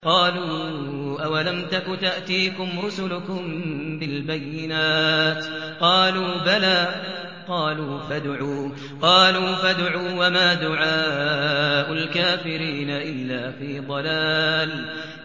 قَالُوا أَوَلَمْ تَكُ تَأْتِيكُمْ رُسُلُكُم بِالْبَيِّنَاتِ ۖ قَالُوا بَلَىٰ ۚ قَالُوا فَادْعُوا ۗ وَمَا دُعَاءُ الْكَافِرِينَ إِلَّا فِي ضَلَالٍ